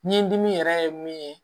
Ni dimi yɛrɛ ye min ye